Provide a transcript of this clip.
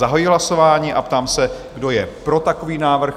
Zahajuji hlasování a ptám se, kdo je pro takový návrh?